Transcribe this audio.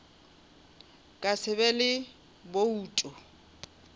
ka se be le boutu